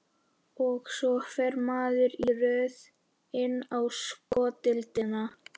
Og svo fer maður í röð inn á sko deildina.